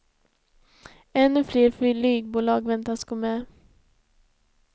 Ännu fler flygbolag väntas gå med.